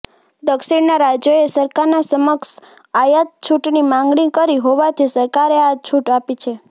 દક્ષિણના રાજ્યોએ સરકાર સમક્ષ આયાત છૂટની માંગણી કરી હોવાથી સરકારે આ છૂટ આપી છે